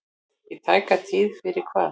Í tæka tíð fyrir hvað?